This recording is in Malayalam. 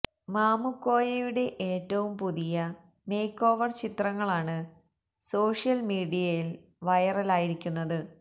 മാമുക്കോയയുടെ ഏറ്റവും പുതിയ മേക്ക് ഓവര് ചിത്രങ്ങളാണ് സോഷ്യല് മീഡിയയില് വൈറലായിരിക്കുന്നത്